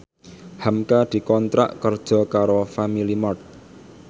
hamka dikontrak kerja karo Family Mart